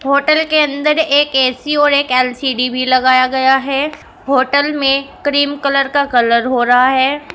Hotel के अंदर एक ए_सी और एक एल_सी_डी भी लगाया गया है होटल में क्रीम कलर का कलर हो रहा है।